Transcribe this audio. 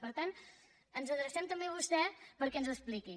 per tant ens adrecem també a vostè perquè ens ho expliqui